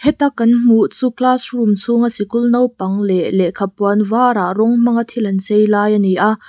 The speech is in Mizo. heta kan hmuh chu classroom chhunga sikul naupang leh lehkha puan varah rawng hmanga thil an chei lai a ni a.